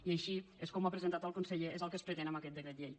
i així és com ho ha presentat el conseller és el que es pretén amb aquest decret llei